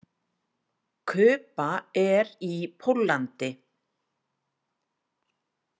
Kuba er í Póllandi.